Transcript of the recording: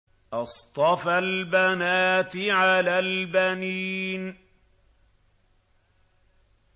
أَصْطَفَى الْبَنَاتِ عَلَى الْبَنِينَ